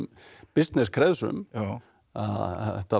bissness kreðsum þetta var